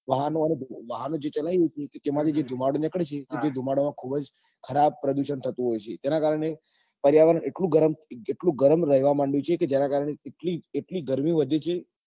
વાહન ઓ અને વાહનો જે ચલાવે છે અને એ ધુમાડો નીકળશે પછી એ ધુમાડા માં ખુબ જ ખરાબ પ્રદુષણ થતું હોય છે તેના કારણે પર્યાવરણ એટલું ગરમ એટલું ગરમ રેવા માંડ્યું છે કે જેના કારણે કેટલી કેટલી ગરમી વધી છે